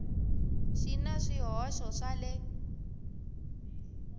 xi na swihoxo swa le